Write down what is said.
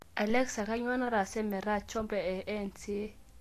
alexa kainyoo naatase metaa chombo e n.s.a